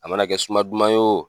A mana kɛ suma duman ye wo